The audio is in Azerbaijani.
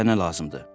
Sizə nə lazımdır?